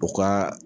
U ka